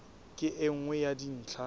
ke e nngwe ya dintlha